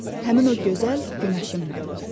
Həmin o gözəl günəşim mənim.